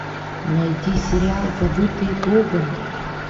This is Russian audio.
найти сериал забытые богом